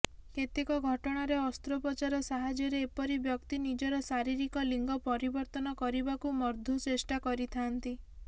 କେତେକ ଘଟଣାରେ ଅସ୍ତ୍ରୋପଚାର ସାହାଯ୍ୟରେ ଏପରି ବ୍ୟକ୍ତି ନିଜର ଶାରୀରିକ ଲିଙ୍ଗ ପରିବର୍ତ୍ତନ କରିବାକୁ ମଧୢ ଚେଷ୍ଟା କରିଥାନ୍ତି